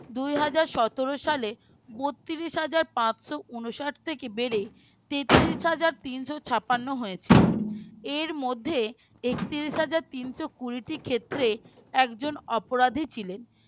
দুই হাজার সতেরো সালে বত্রিশ হাজার পাঁচশ ঊনষাট থেকে বেড়ে তেত্রিশ হাজার তিন শ ছাপান্ন হয়েছে এর মধ্যে একত্রিশ হাজার তিনশ কুড়ি টি ক্ষেত্রে একজন অপরাধী ছিলেন